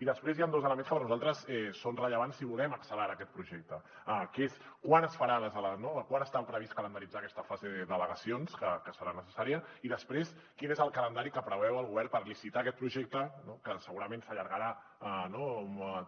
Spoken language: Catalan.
i després hi han dos elements que per nosaltres són rellevants si volem accelerar aquest projecte que és quan està previst calendaritzar aquesta fase d’al·legacions que serà necessària i després quin és el calendari que preveu el govern per licitar aquest projecte que segurament s’allargarà